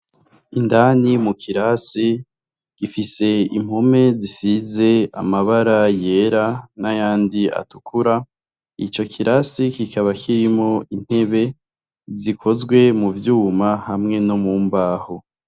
Indani mu kirasi, gifise impome zisize amabara yera n'ayandi atukura. Ico kirasi kikaba kirimwo intebe zikozwe mu vyuma hamwe no mu mbaho.